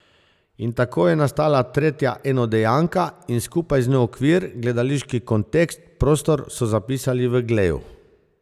In tako je nastala tretja enodejanka in skupaj z njo okvir, gledališki kontekst, prostor, so zapisali v Gleju.